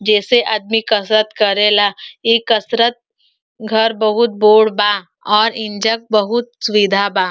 जेसे आदमी कसरत करेला। इ कसरत घर बहोत बोड़ बा और इंजक बहोत सुविधा बा।